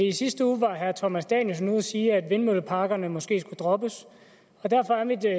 i sidste uge var herre thomas danielsen ude at sige at vindmølleparkerne måske skulle droppes og derfor er mit